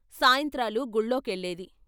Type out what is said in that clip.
సాయంత్రాలు గుళ్ళో కెళ్ళేది.